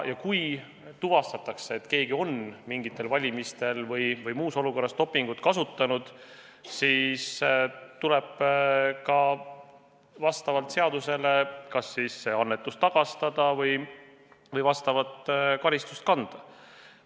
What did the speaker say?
Ja kui tuvastatakse, et keegi on mingitel valimistel või muus olukorras dopingut kasutanud, siis tuleb vastavalt seadusele kas see annetus tagastada või vastavat karistust kanda.